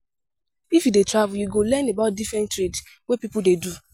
If you dey travel, you go learn about different trade wey pipo dey do.